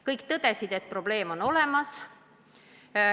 Kõik tõdesid, et probleem on olemas.